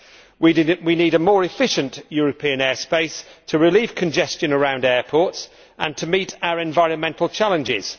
We need a more efficient European airspace to relieve congestion around airports and to meet our environmental challenges.